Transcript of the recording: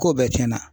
Ko bɛɛ tiɲɛna